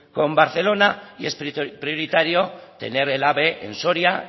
con barcelona y es prioritario tener el ave en soria